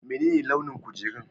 Menene launin kujerun?